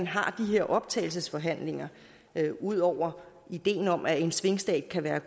her optagelsesforhandlinger ud over ideen om at en svingstat kan være